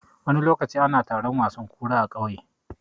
Wani lokaci ana taron wasan kura a ƙauye.